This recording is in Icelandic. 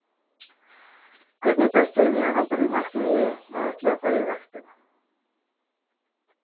Hvernig er best fyrir mig að halda því markmiði að ætla að fara í ræktina?